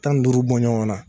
Tan ni duuru bɔnɲɔgɔn na.